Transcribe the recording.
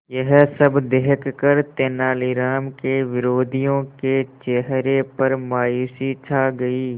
यह सब देखकर तेनालीराम के विरोधियों के चेहरे पर मायूसी छा गई